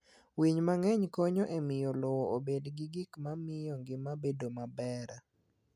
Winy mang'eny konyo e miyo lowo obed gi gik ma miyo ngima bedo maber.